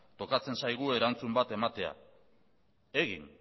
tokatzen zaigu erantzun bat ematea